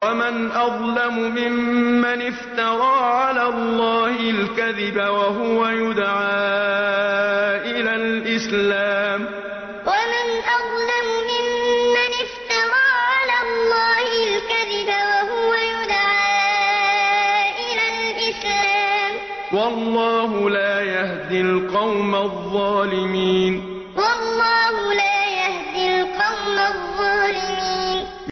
وَمَنْ أَظْلَمُ مِمَّنِ افْتَرَىٰ عَلَى اللَّهِ الْكَذِبَ وَهُوَ يُدْعَىٰ إِلَى الْإِسْلَامِ ۚ وَاللَّهُ لَا يَهْدِي الْقَوْمَ الظَّالِمِينَ وَمَنْ أَظْلَمُ مِمَّنِ افْتَرَىٰ عَلَى اللَّهِ الْكَذِبَ وَهُوَ يُدْعَىٰ إِلَى الْإِسْلَامِ ۚ وَاللَّهُ لَا يَهْدِي الْقَوْمَ الظَّالِمِينَ